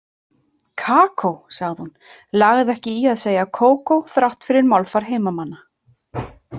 Kakó, sagði hún, lagði ekki í að segja kókó þrátt fyrir málfar heimamanna.